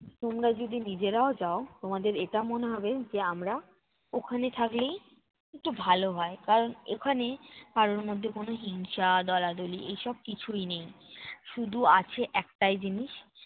তোমরা যদি নিজেরাও যাও, তোমাদের এটা মনে হবে যে, আমরা ওখানে থাকলেই একটু ভালো হয়। কারণ ওখানে কারোর মধ্যে কোন হিংসা, দলা-দলি এসব কিছুই নেই। শুধু আছে একটাই জিনিস